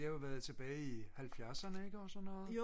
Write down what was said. det har jo været tilbage i 70'erne ikke og så noget